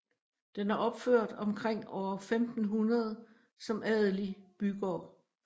Den er opført omkring år 1500 som adelig bygård